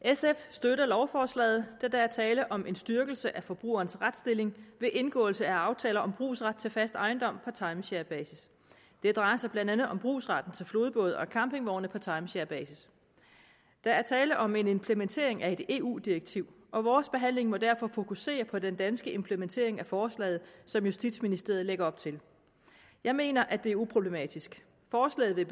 sf støtter lovforslaget da der er tale om en styrkelse af forbrugerens retsstilling ved indgåelse af aftaler om brugsret til fast ejendom på timesharebasis det drejer sig blandt andet om brugsretten til flodbåde og campingvogne på timesharebasis der er tale om en implementering af et eu direktiv og vores behandling må derfor fokusere på den danske implementering af forslaget som justitsministeriet lægger op til jeg mener at det er uproblematisk forslaget vil